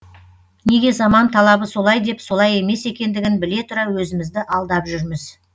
неге заман талабы солай деп солай емес екендігін біле тұра өзімізді алдап жүрміз